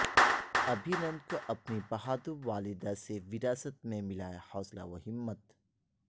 ابھینندن کو اپنی بہادر والدہ سے وراثت میں ملا ہے حوصلہ و ہمت